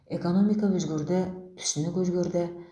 экономика өзгерді түсінік өзгерді